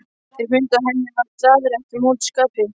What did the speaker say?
Þeir fundu að henni var daðrið ekki á móti skapi.